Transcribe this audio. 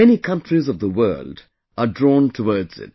Many countries of the world are drawn towards it